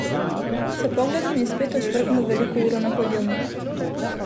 S pogledom je spet ošvrknil veliko uro na hladilniku.